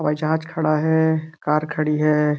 हवाई जहाज खड़ा है कार खड़ी है।